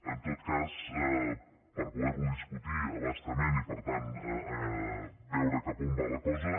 en tot cas per poder lo discutir a bastament i per tant veure cap a on va la cosa